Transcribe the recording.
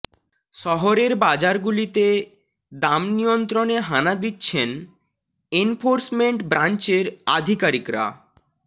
শহরের বাজারগুলিতে দাম নিয়ন্ত্রণে হানা দিচ্ছেন এনফোর্সমেন্ট ব্রাঞ্চের আধিকারিকরা